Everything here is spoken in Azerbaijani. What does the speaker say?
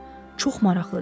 Çox maraqlıdır.